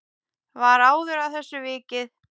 Var áður að þessu vikið.